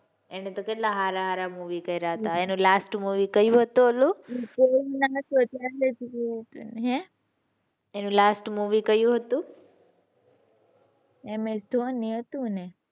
એને તો કેટલા સારા સારા movie કર્યા હતા. એનું last movie કયું હતું ઓલું? એનું last movie કયું હતું? ms dhoni હતું ને.